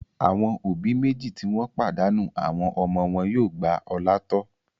Àwọn òbí méjì tí wọ́n pàdánù àwọn ọmọ wọn yóò gba Ọlá tọ́.